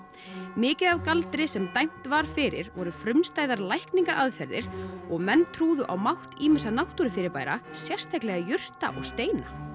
mikið af galdri sem dæmt var fyrir voru frumstæðar lækningaaðferðir og menn trúðu á mátt ýmissa náttúrufyrirbæra sérstaklega jurta og steina